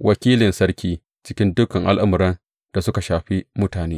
wakilin sarki cikin dukan al’amuran da suka shafi mutane.